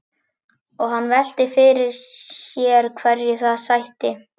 Og hann velti fyrir sér hverju það sætti.